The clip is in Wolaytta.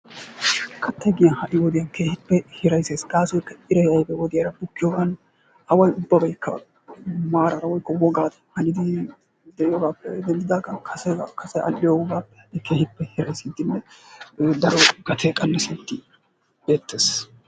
katay ha satiyan keehi hiraysee, gaasoykka iray oyddu wodiya bukiyogan away ubabaykka ba maaraa eriyogan kase al'iyogaape qanasin gatee qanasiyogee beetees.